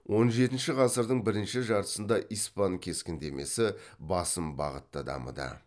он жетінші ғасырдың бірінші жартысында испан кескіндемесі басым бағытта дамыды